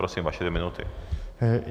Prosím, vaše dvě minuty.